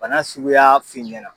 Bana suguya f'i ɲɛna.